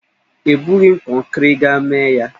Ebughị m kọnkiri, gaa mee ya,!